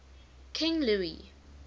king louis